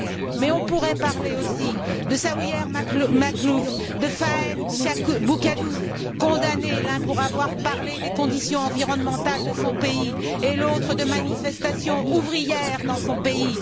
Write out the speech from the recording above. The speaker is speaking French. Mais on pourrait aussi parler de Sawyer Maclouf, de Fahem Boukadous, condamnés, l'un pour avoir parlé des conditions environnementales de son pays, et l'autre de manifestations ouvrières dans son pays.